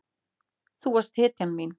Þú varst hetjan mín.